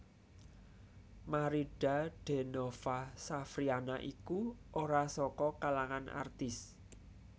Maridha Denova Safriana iku ora saka kalangan artis